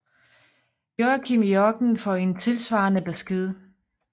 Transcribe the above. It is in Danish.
Joakim i ørkenen får en tilsvarende besked